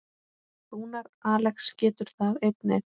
Rúnar Alex getur það einnig.